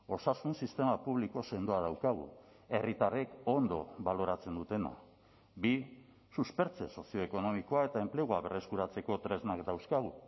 osasun sistema publiko sendoa daukagu herritarrek ondo baloratzen dutena bi suspertze sozioekonomikoa eta enplegua berreskuratzeko tresnak dauzkagu